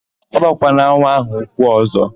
Agbakwala nwa áhụ̀ ụkwụ ọ̀zọ́!